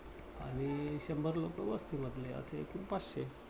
आणि शंभर लोकं वस्ती मधले असे एकूण पाचशे.